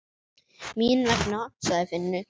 Mín vegna, sagði Finnur.